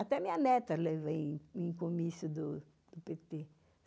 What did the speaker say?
Até minha neta levava em comício do pêtê